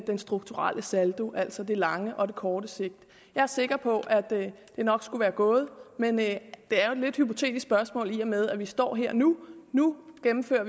den strukturelle saldo altså det lange og det korte sigt jeg er sikker på at det nok skulle være gået men det er jo et lidt hypotetisk spørgsmål i og med at vi står her nu nu og gennemfører